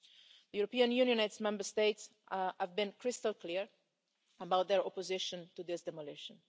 The European Union and its Member States have been crystal clear about their opposition to this demolition.